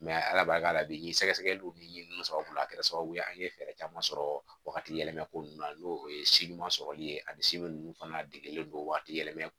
ala barika la bi sɛgɛsɛgɛliw ni sababuya kɛra sababu ye an ye fɛɛrɛ caman sɔrɔ wagati yɛlɛma ko nunnu na n'o ye sɔrɔli ye a bi nunnu fana degelen don waati yɛlɛma